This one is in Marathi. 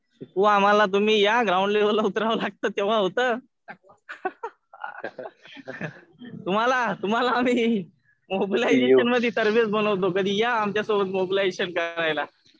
शिकवू आम्हाला. या तुम्ही ग्राउंड लेवलला उतरावं लागतं तेव्हा होतं. तुम्हाला आम्ही मोबिलाजेशन मध्ये सर्व्हिस बनवतो. कधी या आमच्या सोबत मोबिलाजेशन करायला.